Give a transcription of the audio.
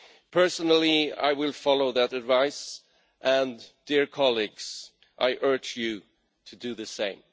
Personally, I will follow that advice and, dear colleagues, I urge you to do the same.